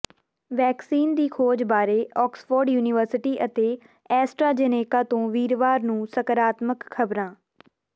vaccine ਦੀ ਖੋਜ ਬਾਰੇ ਆਕਸਫੋਰਡ ਯੂਨੀਵਰਸਿਟੀ ਅਤੇ ਐਸਟਰਾ ਜੇਨੇਕਾ ਤੋਂ ਵੀਰਵਾਰ ਨੂੰ ਸਕਾਰਾਤਮਕ ਖ਼ਬਰਾਂ